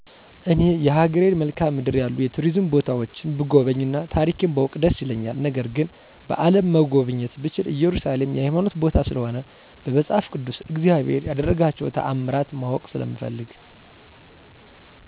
እኔ የሀገሬን መልካዓ ምድር ያሉ የቱሪዝም ቦታዎችን ብጎበኝ እና ታሪኬን ባውቅ ደስ ይለኛል ነገር ግን በአለም መጎብኘት ብችል እየሩሳሌም የሀይማኖት ቦታ ስለሆነ በመፃፍ ቅድስ እግዚአብሔር የደረጋቸውን ታምራት ማወቅ ስለምፈልግ።